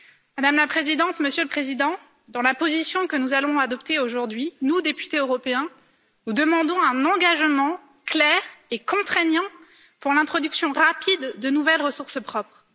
Madame la Présidente, Monsieur le Président, dans la position que nous allons adopter aujourd'hui, nous, députés européens, demandons un engagement clair et contraignant pour l'introduction rapide de nouvelles ressources propres.